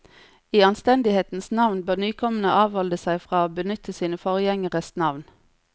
I anstendighetens navn bør nykommerne avholde seg fra å benytte sine forgjengeres navn.